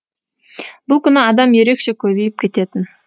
бұл күні адам ерекше көбейіп кететін